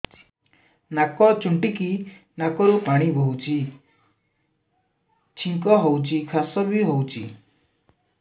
ନାକ ଚୁଣ୍ଟୁଚି ନାକରୁ ପାଣି ବହୁଛି ଛିଙ୍କ ହଉଚି ଖାସ ବି ହଉଚି